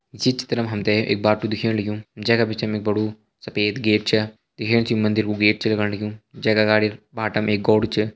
ये चित्र मा हम ते एक बाटू दिखेण लग्युं जै का बिचा मा एक बड़ु सफ़ेद गेट छा दिखेण से यु एक मंदिर कु गेट छ लगण लग्युं जैका अगाड़ी बाटा मा एक गोड़ छ।